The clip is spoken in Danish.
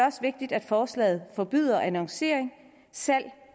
også vigtigt at forslaget forbyder annoncering salg